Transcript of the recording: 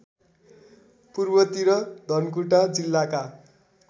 पूर्वतिर धनकुटा जिल्लाका